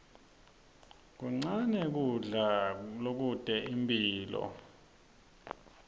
kuncane kudla lokute imphilo